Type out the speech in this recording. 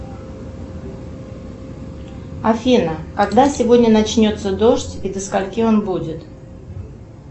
афина когда сегодня начнется дождь и до скольки он будет